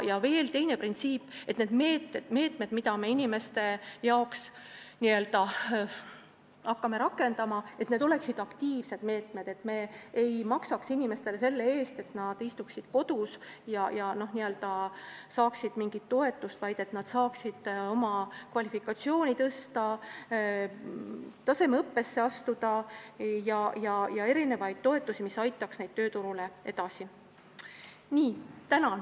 Veel teine printsiip: need meetmed, mida me inimeste jaoks hakkame võtma, peavad olema aktiivsed meetmed, et inimesed ei istuks kodus, saades mingit toetust, vaid et nad saaksid oma kvalifikatsiooni täiendada ja tasemeõppesse astuda ning saaksid toetusi, mis aitaksid neid edasi.